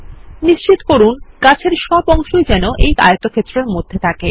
নিশ্চিত করুন গাছের সব অংশই যেন এই আয়তক্ষেত্রের মধ্যে থাকে